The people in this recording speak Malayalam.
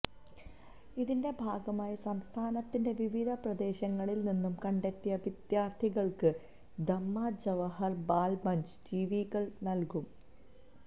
ഇതിൻറെ ഭാഗമായി സംസ്ഥാനത്തിൻറെ വിവിധ പ്രദേശങ്ങളിൽ നിന്നും കണ്ടെത്തിയ വിദ്യാർത്ഥികൾക്ക് ദമ്മാം ജവഹർ ബാൽ മഞ്ച് ടിവി കൾ നൽകും